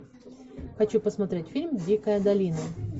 хочу посмотреть фильм дикая долина